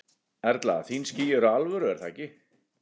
Erla: Þín ský eru alvöru er það ekki?